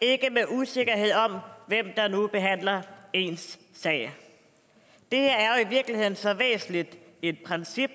ikke med usikkerhed om hvem der nu behandler ens sag det her er i virkeligheden så væsentligt et princip